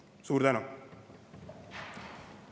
Suur tänu!